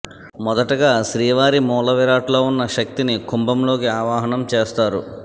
మొదటగా శ్రీవారి మూలవిరాట్ లో ఉన్న శక్తిని కుంభంలోకి ఆవాహనం చేస్తారు